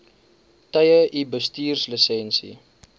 tye u bestuurslisensie